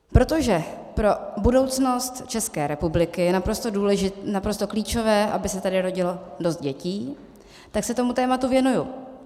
Protože pro budoucnost České republiky je naprosto klíčové, aby se tady rodilo dost dětí, tak se tomu tématu věnuji.